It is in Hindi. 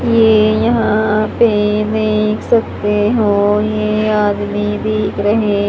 ये यहां पे देख सकते हो ये आदमी दिख रहे--